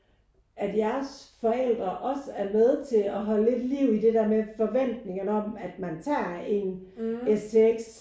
At jeres forældre også er med til at holde lidt liv i det der med forventningen om at man tager en STX